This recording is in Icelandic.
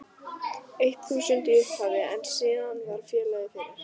eitt þúsund í upphafi en síðan varð félagið fyrir